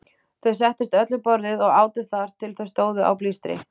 Þau settust öll við borðið og átu þar til þau stóðu á blístri.